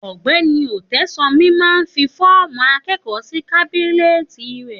Ògbẹni Ọ̀tẹsanmi mà ń fi fọ̀mú akẹkọ si kàbìnẹtì rẹ